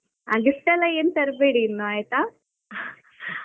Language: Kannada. ಆ gift ಎಲ್ಲಾ ಏನು ತರ್ಬೇಡಿ ಇನ್ನು ಆಯ್ತಾ .